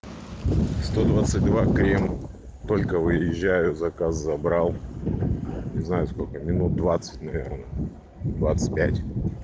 сто двадцать два крем только выезжаю заказ забрал не знаю сколько минут двадцать наверное двадцать пять